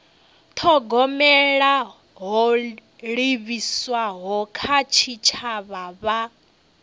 thogomela ho livhiswaho kha tshitshavha